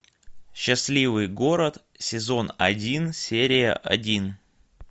счастливый город сезон один серия один